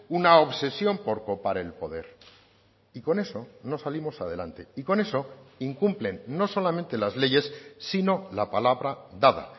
una obsesión por copar el poder y con eso no salimos adelante y con eso incumplen no solamente las leyes sino la palabra dada